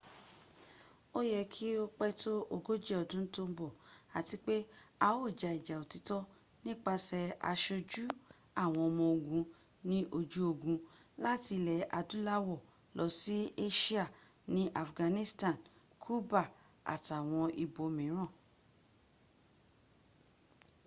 ó yẹ kí ó pẹ́ tó ogójì ọdún tó ń bọ̀ àti pé a ó ja ìjà òtítọ́ nípasẹ̀ asojú àwọn ọmọ ogun ní ojú ogun láti ilẹ̀ adúláwọ̀ lọ sí asia ní afghanistan cuba àtàwọn ibòmíràn